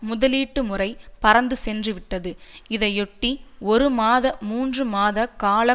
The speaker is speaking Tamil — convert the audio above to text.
முதலீட்டு முறை பறந்து சென்றுவிட்டது இதையொட்டி ஒரு மாத மூன்று மாத கால